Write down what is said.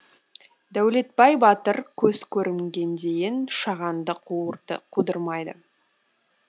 дәулетбай батыр көз көрімге дейін шағанды қудырмайды